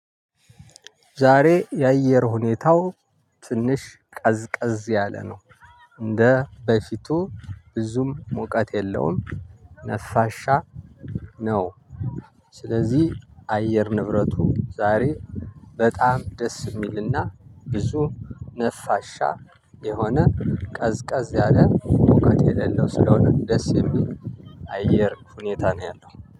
ዛሬ የአየር ሁኔታው ትንሽ ቀዝቀዝ ያለ ነው። እንደ በፊቱ ብዙም ሙቀት የለውም ነፋሻ ነው። ስለዚህ አየር ንብረቱ ዛሬ በጣም ደስ የሚልና ብዙ ነፋሻ የሆነ ቀዝቀዝ ያለ ሙቀት የሌለው ስለሆነ ደስ የሚል አየር ሁኔታ ነው ያለው